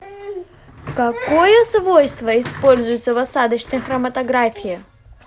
какое свойство используется в осадочной хроматографии